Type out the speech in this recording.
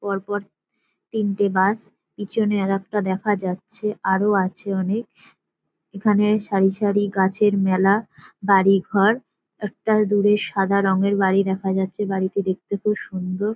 পর পর তিনটে গাছ পিছনে আরেকটা দেখা যাচ্ছে আরও আছে অনেক । এখানে সারি সারি গাছের মেলা বাড়িঘর একটা দূরে সাদা রঙের বাড়ি দেখা যাচ্ছে বাড়িটি দেখতে খুব সুন্দর।